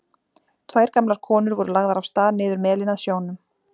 Tvær gamlar konur voru lagðar af stað niður melinn að sjónum.